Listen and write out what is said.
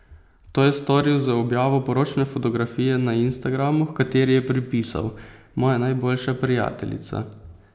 To je storil z objavo poročne fotografije na Instagramu, h kateri je pripisal: "Moja najboljša prijateljica ...